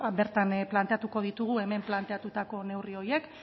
bertan planteatuko ditugu hemen planteatutako neurri horiek